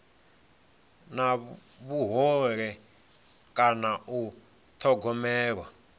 na vhuhole kana u thogomelwa